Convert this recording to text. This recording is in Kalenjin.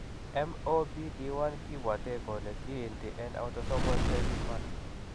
MOPD1 kiibwate kole kiinti en autosomal recessive manner.